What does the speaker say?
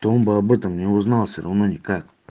то он бы об этом не узнал всё равно никак